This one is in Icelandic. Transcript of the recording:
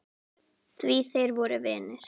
Því þeir voru vinir.